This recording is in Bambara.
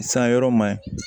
San yɔrɔ ma ɲi